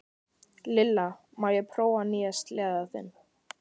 Lilla, má ég prófa nýja sleðann þinn?